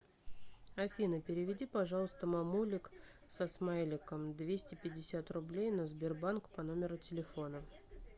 афина переведи пожалуйста мамулик со смайликом двести пятьдесят рублей на сбербанк по номеру телефона